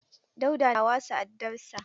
Dauda na wasa addar sa.